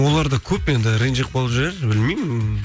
олар да көп енді ренжіп қалып жүрер білмеймін